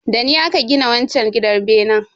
Dani aka gina wanchar gidan benen.